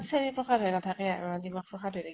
চেনি প্ৰসাদ হৈ নাথাকে আৰু দিমাগ প্ৰসাদ হৈ থাকিব।